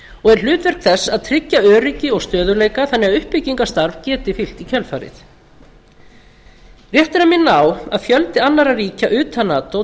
og er hlutverk þess að tryggja öryggi og stöðugleika þannig að uppbyggingarstarf geti fylgt í kjölfarið rétt er að minna á að fjöldi annarra ríkja utan nato